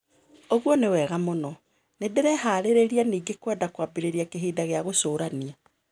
ũguo nĩ wega mũno. Ndĩreharĩrĩria ningĩ kũenda kũambĩrĩria kĩhinda gĩa gũcũrania.